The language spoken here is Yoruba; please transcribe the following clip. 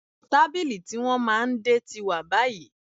Tábìlì tí wọ́n máa ń dè tí wà báyìí